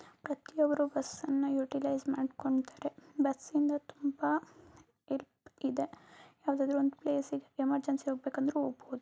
ಅವರು ಬಸ್ ಅನ್ನ ಯುಟಿಲೈಸ್ ಮಾಡ್ಕೊಂಡ್ತರೆ. ಬಸ್ಸಿಂದ ತುಂಬಾ ಹೆಲ್ಪ್ ಇದೆ. ಯಾವದಾದ್ರು ಒಂದ್ ಪ್ಲೇಸಿಗೆ ಎಮರ್ಜೆನ್ಸಿ ಹೋಗ್ಬೇಕಂದ್ರು ಹೋಗ್ಬೋದು.